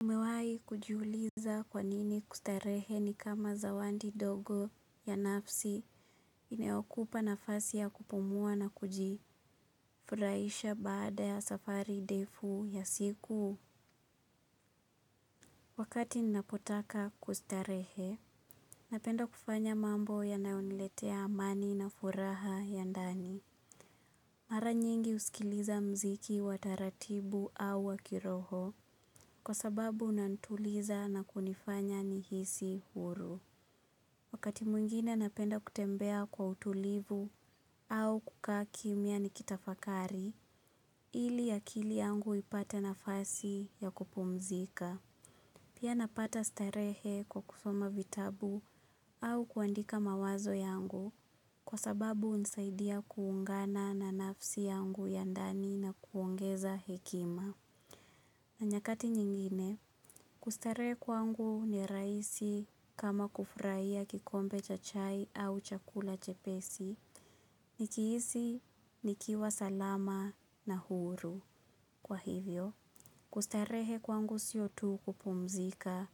Umewai kujiuliza kwanini kustarehe ni kama zawadi ndogo ya nafsi inayokupa nafasi ya kupumuwa na kuji furahisha baada ya safari ndefu ya siku. Wakati ninapotaka kustarehe, napenda kufanya mambo yanayoniletea amani na furaha ya ndani. Mara nyingi husikiliza muziki wataratibu au wakiroho kwa sababu unanituliza na kunifanya nihisi huru. Wakati mwingine napenda kutembeya kwa utulivu au kukaa kimya nikitafakari ili akili yangu ipate nafasi ya kupumzika. Pia napata starehe kwa kusoma vitabu au kuandika mawazo yangu kwa sababu hunisaidiya kuungana na nafsi yangu ya ndani na kuongeza hekima. Na nyakati nyingine, kustarehe kwangu ni rahisi kama kufurahia kikombe cha chai au chakula chepesi, ni kihisi, nikiwa salama na huru. Kwa hivyo, kustarehe kwangu siyo tu kupumzika,